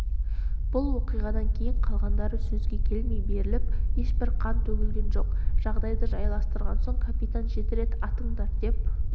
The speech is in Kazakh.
бұл оқиғадан кейін қалғандары сөзге келмей беріліп ешбір қан төгілген жоқ жағдайды жайластырған соң капитан жеті рет атыңдар деп